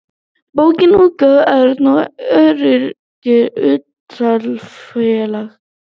bókaútgáfan örn og örlygur hlutafélag